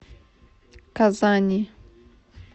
казани